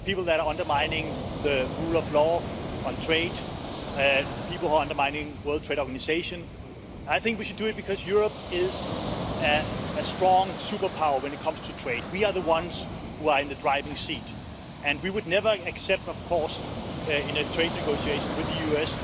People who are undermining the rule of law on trade, people who are undermining the World Trade Organisation. I think we should do it because Europe is a strong superpower when it comes to trade. We are the ones who are in the driving seat and we would never accept, in trade negotiations with the